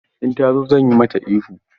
In ta zo zan yi mata ihu.